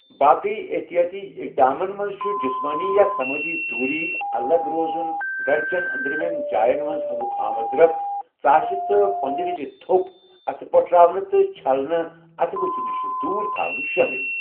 باقٕے احتِیٲتی اِقدامن منٛز چھِ جِسمٲنی یا سَمٲجی دوُری، الگ روزُن، گَرِ چیٚن أنٛدرِمیٚن جاین منٛز ہَواہُک آمدرَفت ، ژاسہِ تہٕ پۄنٛدِ وِزِ تھوٚپ ، اَتھٕ پٔٹھراوٕنہِ ، تہٕ چھلنَے اَتھٕ بٕتِھہِ نِشہِ دوٗر تھاوٕنہِ شٲمِل۔